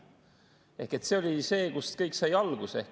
See oli see, kui kõik sai alguse.